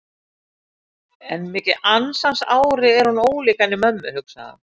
En mikið ansans ári er hún ólík henni mömmu, hugsaði hann.